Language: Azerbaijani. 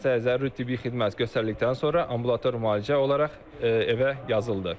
Xəstəyə zəruri tibbi xidmət göstərildikdən sonra ambulator müalicə olaraq evə yazıldı.